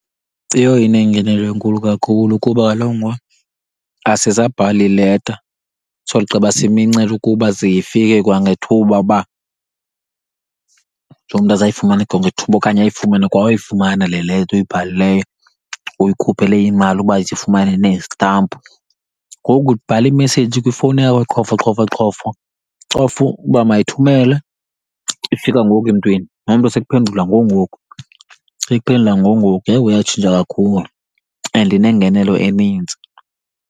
Iyho inengenelo enkulu kakhulu kuba kaloku ngoku asisabhali leta sogqiba simincele ukuba ze ifike kwangethuba, uba ujonge umntu azayifumana kwangethuba okanye ayifumane kwa uyifumana le leta uyibhalileyo, uyikhuphele imali uba izifumane neezitampu. Ngoku ubhala imeseyiji kwifowuni yakho qhofo, qhofo, qhofo, ucofe uba mayithumele, ifika ngoku emntwini, nomntu sekuphendula ngoku ngoku, sekuphendula ngoku ngoku. Yewo yatshintsha kakhulu and inengenelo eninzi.